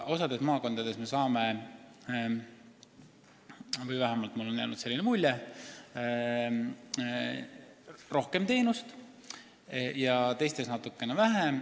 Osas maakondades saab – vähemalt mulle on jäänud selline mulje – rohkem teenust ja osas natukene vähem.